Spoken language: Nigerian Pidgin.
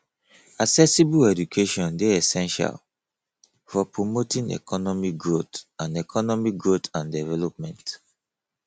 accessible education dey essential for promoting economic growth and economic growth and development